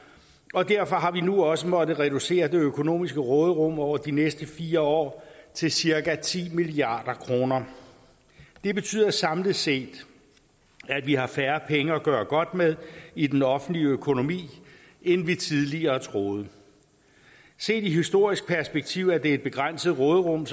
og derfor har vi nu også måttet reducere det økonomiske råderum over de næste fire år til cirka ti milliard kroner det betyder samlet set at vi har færre penge at gøre godt med i den offentlige økonomi end vi tidligere troede set i historisk perspektiv er det et begrænset råderum